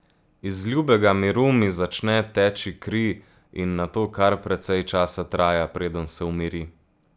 Iz ljubega miru mi začne teči kri in nato kar precej časa traja, preden se umiri.